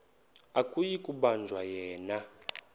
akuyi kubanjwa yena